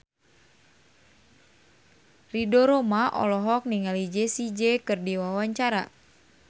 Ridho Roma olohok ningali Jessie J keur diwawancara